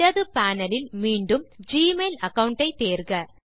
இடது பேனல் லில் மீண்டும் ஜிமெயில் அகாவுண்ட் ஐ தேர்க